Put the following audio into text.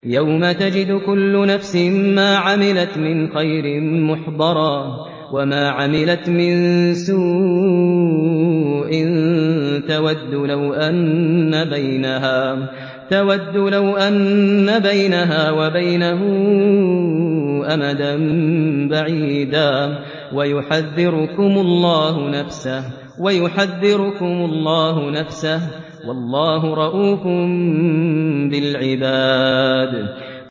يَوْمَ تَجِدُ كُلُّ نَفْسٍ مَّا عَمِلَتْ مِنْ خَيْرٍ مُّحْضَرًا وَمَا عَمِلَتْ مِن سُوءٍ تَوَدُّ لَوْ أَنَّ بَيْنَهَا وَبَيْنَهُ أَمَدًا بَعِيدًا ۗ وَيُحَذِّرُكُمُ اللَّهُ نَفْسَهُ ۗ وَاللَّهُ رَءُوفٌ بِالْعِبَادِ